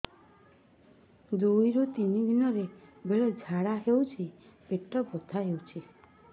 ଦୁଇରୁ ତିନି ଦିନରେ ବେଳେ ଝାଡ଼ା ହେଉଛି ପେଟ ବଥା ହେଉଛି